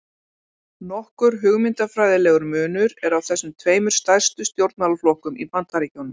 Nokkur hugmyndafræðilegur munur er á þessum tveimur stærstu stjórnmálaflokkum í Bandaríkjunum.